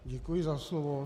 Děkuji za slovo.